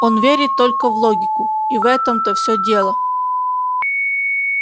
он верит только в логику и в этом-то всё дело